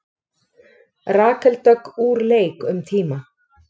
Rakel Dögg úr leik um tíma